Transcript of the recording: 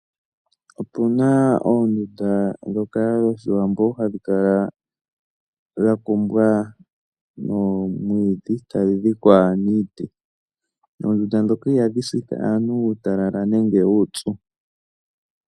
Opuna oondundu dhoka dhoshiwambo hadhi kala dha kumbwa noomwiidhi etadhi dhikwa niiti. Oondunda dhoka ihadhi sitha aantu uutalala nenge uupyu.